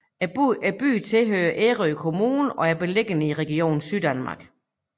Byen tilhører Ærø Kommune og er beliggende i Region Syddanmark